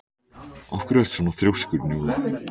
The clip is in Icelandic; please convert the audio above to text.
Af hverju ertu svona þrjóskur, Njóla?